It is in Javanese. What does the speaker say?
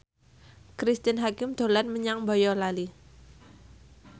Cristine Hakim dolan menyang Boyolali